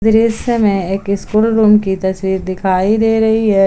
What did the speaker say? दृश्य में एक स्कूल रूम की तस्वीर दिखाई दे रही है।